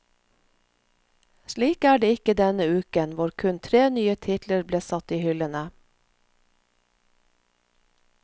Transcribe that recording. Slik er det ikke denne uken, hvor kun tre nye titler ble satt i hyllene.